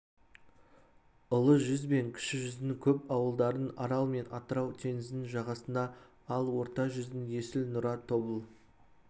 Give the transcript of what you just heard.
ұлы жүз бен кіші жүздің көп ауылдарының арал мен атырау теңізінің жағасына ал орта жүздің есіл нұра тобыл